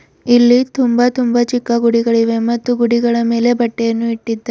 ಇಲ್ಲಿ ತುಂಬಾ ತುಂಬಾ ಚಿಕ್ಕ ಗುಡಿಗಳಿವೆ ಮತ್ತು ಗುಡಿಗಳ ಮೇಲೆ ಬಟ್ಟೆಯನ್ನು ಇಟ್ಟಿದ್ದ--